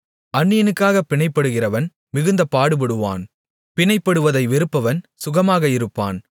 அந்நியனுக்காகப் பிணைப்படுகிறவன் மிகுந்த பாடுபடுவான் பிணைப்படுவதை வெறுப்பவன் சுகமாக இருப்பான்